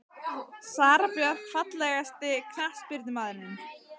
Sara Björk Fallegasti knattspyrnumaðurinn?